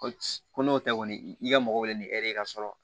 Ko ko n'o tɛ kɔni i ka mɔgɔ wele ni ere ye ka sɔrɔ